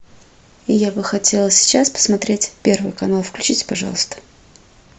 я бы хотела сейчас посмотреть первый канал включите пожалуйста